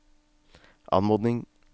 anmodning